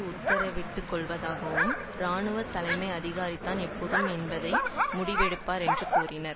உத்தரவிட்டுள்ளதாகவும் இராணுவ தலைமை அதிகாரிதான் எப்பொழுது என்பதை முடிவெடுப்பார் என்று கூறினார்